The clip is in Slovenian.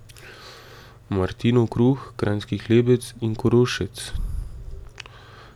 Martinov kruh, kranjski hlebec in korošec.